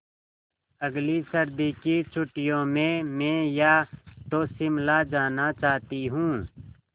अगली सर्दी की छुट्टियों में मैं या तो शिमला जाना चाहती हूँ